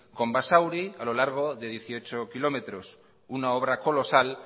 con basauri a lo largo de dieciocho kilómetros una obra colosal